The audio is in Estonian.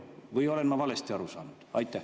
Või olen ma valesti aru saanud?